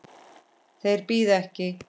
Þeir bíða ekki.